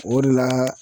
O de la